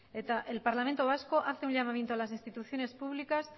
el parlamento vasco hace un llamamiento a las instituciones públicas